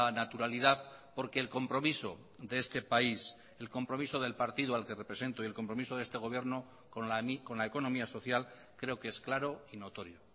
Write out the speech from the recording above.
naturalidad porque el compromiso de este país el compromiso del partido al que represento y el compromiso de este gobierno con la economía social creo que es claro y notorio